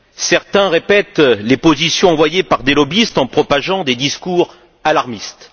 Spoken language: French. Certains répètent les positions envoyées par des lobbyistes en propageant des discours alarmistes.